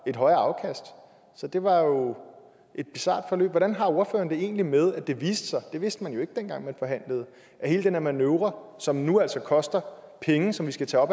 et højere afkast det var jo et bizart forløb hvordan har ordføreren det egentlig med at det viste sig det vidste man jo ikke dengang man forhandlede at hele den her manøvre som nu altså koster penge som vi skal tage